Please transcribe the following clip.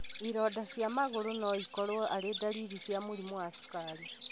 Ironda cia magũrũ noikorwo arĩ ndariri cia mũrimũ wa cukari